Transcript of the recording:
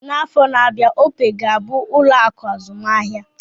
N'afọ na-abịa, opee ga-abụ ụlọ akụ azụmahịa